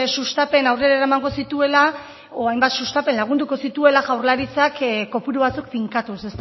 sustapen aurrera eramango zituela edo hainbat sustapen lagunduko zituela jaurlaritzak kopuru batzuk finkatuz